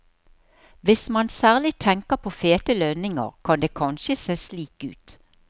Hvis man særlig tenker på fete lønninger, kan det kanskje se slik ut.